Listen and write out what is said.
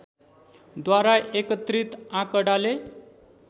द्वारा एकत्रित आँकडाले